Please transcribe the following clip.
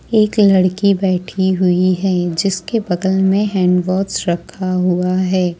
एक लड़की बैठी हुई है जिसके बगल में हैंड वॉच रखा हुआ है।